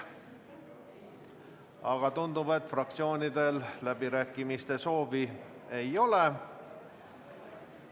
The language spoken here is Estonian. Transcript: Aga tundub, et fraktsioonidel läbirääkimise soovi ei ole.